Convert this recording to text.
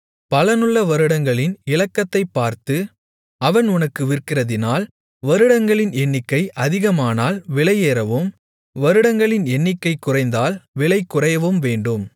பலனுள்ள வருடங்களின் இலக்கத்தைப் பார்த்து அவன் உனக்கு விற்கிறதினால் வருடங்களின் எண்ணிக்கை அதிகமானால் விலையேறவும் வருடங்களின் எண்ணிக்கை குறைந்தால் விலை குறையவும் வேண்டும்